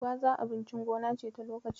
Gwaza abincin gona ce ta lokaci.